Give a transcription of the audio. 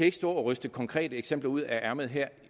ikke stå og ryste konkrete eksempler ud af ærmet her